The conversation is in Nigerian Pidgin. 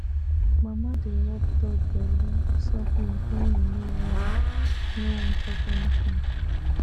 mama dey rub dog belle softly when e no wan no wan chop anything